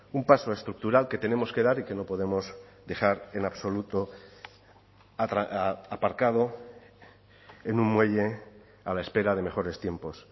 un paso estructural que tenemos que dar y que no podemos dejar en absoluto aparcado en un muelle a la espera de mejores tiempos